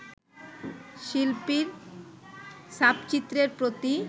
শিল্পীর ছাপচিত্রের প্রতি